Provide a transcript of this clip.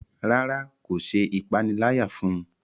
ràrá kò ṣe ìpaniláyà fún.